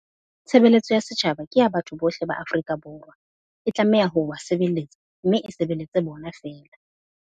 Tshebeletso ya setjhaba ke ya batho bohle ba Afrika Borwa. E tlameha ho ba se beletsa mme e sebeletse bona feela.